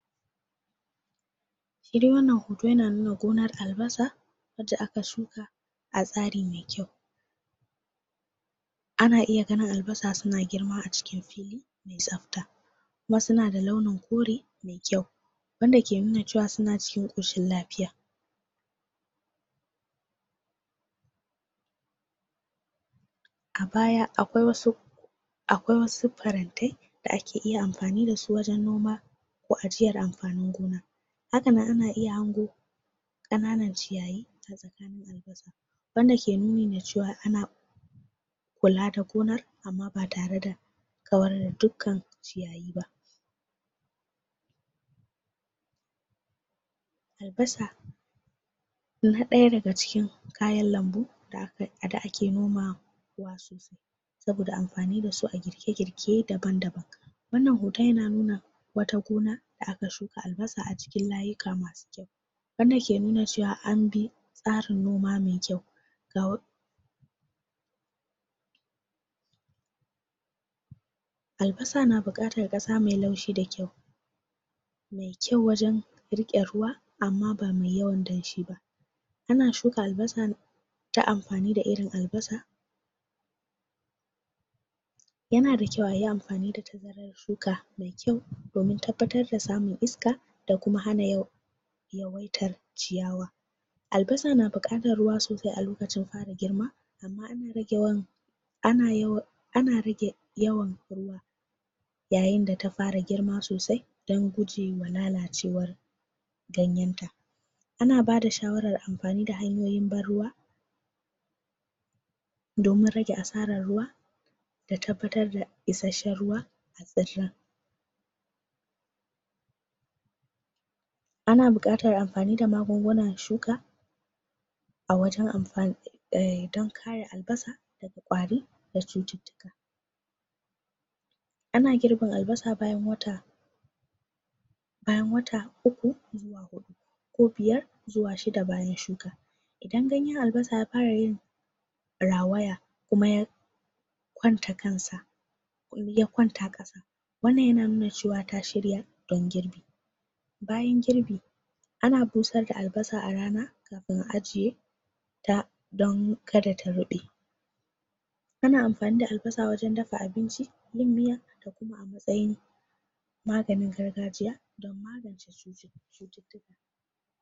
shi dai wannan hoto yana nuna gonar albasa wanda aka shuka a tsari me kyau?????? ana iya ganin albasa suna girma a ciki me tsabta kuma suna da launin kore me kyau wanda ke nuna cewa suna cikin koshin lafiya????????????????????????????????????????????? a baya akwai wasu akwai wasu farantai da ake iya amfani dasu wajen noma ko ajiyar amfani gona hakanan ana iya hango kananan ciyayi a tsakanin albasa??????????? wanda ke nuni da cewa ana?????? kula da gonar amma ba tare da kawar da dukkan ciyayi ba????????????????????????? albasa na daya daga cikin kayan lambu da kai da ake nomawa sosai??????????? saboda amfani dasu a girke girke daban daban wannan hoton yana nuna gona da aka shuka albasa a cikin layika masu kyau wanda ke nuna cewa an bi tsarin noma me kyau ga????????????????????????? albasa na bukatan kasa me laushi da kyau me kyau wajen ruwa amma ba mai yawan danshi ba ana shuka albasa ta amfani da irin albasa???????????? yana da kyau ayi amfani da tazarar shuka me kyau domin tabbatar da samun iska da kuma hana yawaitar ciyawa albasa na bukatar ruwa sosai alokacin fara girma amma ana ana yawa ana rage yawan ruwa yayin da ta fara girma sosai dan gujewa lalacewar ganyenta ana bada shawaran amfani da hanyoyin ban ruwa?????????? domin rage asaran ruwa da tabbatar da isasshen ruwa a tsirren????????????????? anan buqatar amfani da magungunan shuka a wajen amfan errrr dan kare albasa albasa daga kwari da cututtuka???????????????? ana girbin albasa bayan wata bayan wata uku xuwa hudu ko biyar ko shidda bayan shuka idan ganyen albasa ya fara yin rawaya ko ya kwanta kansa ya kwanta kasa wannan yana nuna cewa ta shirya don girbi bayan girbi ana busar da albasa a rana kafin a ajiye ta don kada ta rube ana amfani da albasa wjajen daf abinci yin miya da kuma a matsayin maganin gargajiya?????????????????????????